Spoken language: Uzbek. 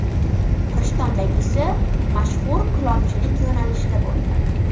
Rishtondagisi mashhur kulolchilik yo‘nalishida bo‘ldi.